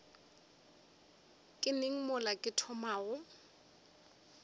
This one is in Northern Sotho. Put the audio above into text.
ke neng mola ke thomago